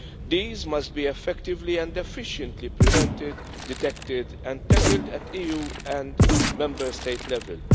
These must be effectively and efficiently prevented, detected and tackled at EU and Member State level.